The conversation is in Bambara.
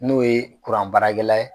N'o ye baarakɛla ye.